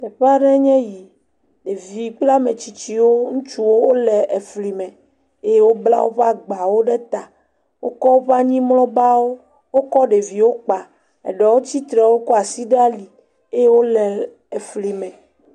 Teƒe aɖee nye yi. Ɖevi kple ame tsitsiwo ŋutsuwo wole efli me eye wobla woƒe agbawo ɖe ta. Wokɔ woƒe anyimlɔbawo. Wokɔ ɖeviwo kpa eɖewo tsitre wokɔ asi de ali eye wole efli me.